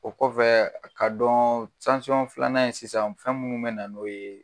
O kɔfɛɛ a ka dɔɔn filanan ye sisan fɛn mun mɛ na n'o ye